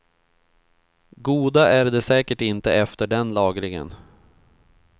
Goda är de säkert inte efter den lagringen.